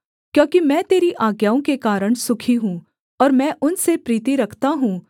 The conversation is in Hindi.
क्योंकि मैं तेरी आज्ञाओं के कारण सुखी हूँ और मैं उनसे प्रीति रखता हूँ